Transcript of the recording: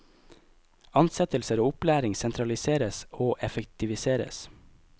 Ansettelser og opplæring sentraliseres og effektiviseres.